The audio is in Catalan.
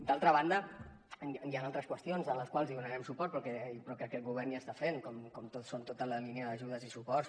d’altra banda hi han altres qüestions a les quals donarem suport però que aquest govern ja està fent com són tota la línia d’ajudes i suports